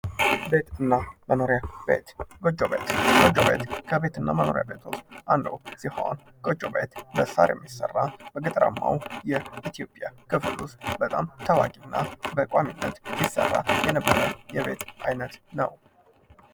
ቤትና መኖሪያ ቤት ጎጆ ቤት ከቤት እና ከመኖሪያ ቤቶች ውስጥ አንዱ ሲሆን ከሳር የሚሰራና በገጠራማው የኢትዮጵያ ክፍል በጣም ታዋቂና በቋሚነት የሚሠራ የነበረ የቤት አይነት ነው።